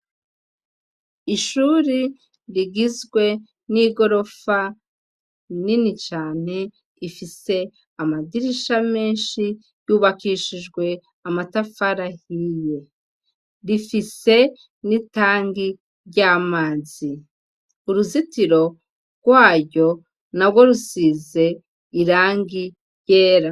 Ishuri rigizwe n'igorofa inini cane ifise amadirisha menshi yubakishijwe amatafarahiye rifise n'itangi ry'amazi uruzitiro rwayo na gwo rusize irangi ryera.